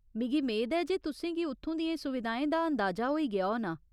मिगी मेद ऐ जे तुसें गी उत्थूं दियें सुविधाएं दा अंदाजा होई गेआ होना।